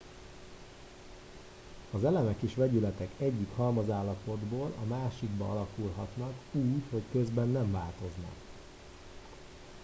az elemek és vegyületek egyik halmazállapotból a másikba alakulhatnak úgy hogy közben nem változnak